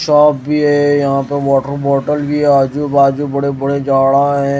Shop भी है यहां पे वॉटर बॉटल भी है आजू बाजू बड़े बड़े झाड़ा है।